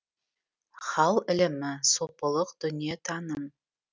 хал ілімі сопылық дүниетаным